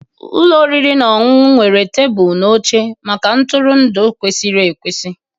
Ụlọ oriri na ọṅụṅụ nwere tebụl na oche maka ntụrụndụ kwesịrị ekwesị